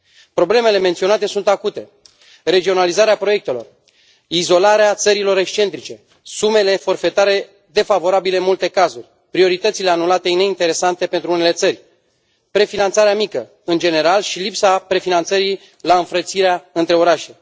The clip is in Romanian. Problemele menționate sunt acute regionalizarea proiectelor, izolarea țărilor excentrice, sumele forfetare defavorabile în multe cazuri, prioritățile anulate neinteresante pentru unele țări, prefinanțarea mică, în general, și lipsa prefinanțării la înfrățirea între orașe.